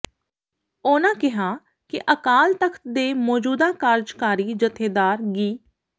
ਉਨ੍ਹਾਂ ਕਿਹਾ ਕਿ ਅਕਾਲ ਤਖ਼ਤ ਦੇ ਮੌਜੂਦਾ ਕਾਰਜਕਾਰੀ ਜਥੇਦਾਰ ਗਿ